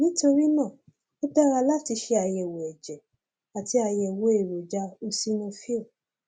nítorí náà ó dára láti ṣe àyẹwò ẹjẹ àti àyẹwò èròjà eosinophil